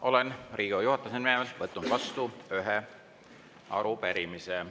Olen Riigikogu juhatuse nimel võtnud vastu ühe arupärimise.